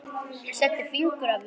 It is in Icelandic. Setti fingur að vörum.